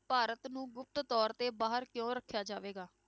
ਭਾਰਤ ਨੂੰ ਗੁਪਤ ਤੌਰ ਤੇ ਬਾਹਰ ਕਿਉਂ ਰੱਖਿਆ ਜਾਵੇਗਾ?